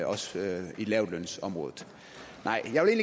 også i lavtlønsområdet nej jeg vil